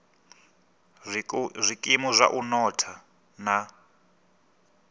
zwikimu zwa u notha na